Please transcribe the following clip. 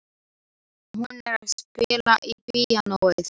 Hún er að spila á píanóið.